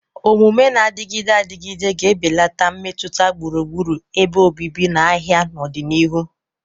Omume na-adịgide adịgide ga-ebelata mmetụta gburugburu ebe obibi na ahịa n'ọdịnihu.